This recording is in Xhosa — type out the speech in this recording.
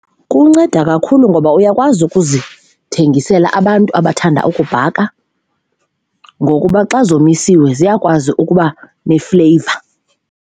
Kunceda kakhulu ngoba uyakwazi ukuzithengisela abantu abathanda ukubhaka ngokuba xa zomisiwe ziyakwazi ukuba nefleyiva.